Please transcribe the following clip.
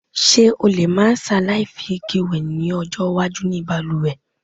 S̩e o lè má s̩aláì fi ike wè ló̩jó̩ iwájú ní balùwè̩?